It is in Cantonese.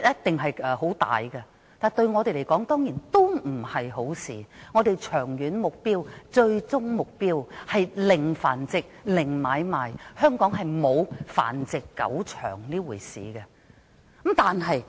面積這樣大對我們來說，並非好事，因為我們長遠最終的目標，是"零繁殖"及"零買賣"，香港再無繁殖狗場這回事。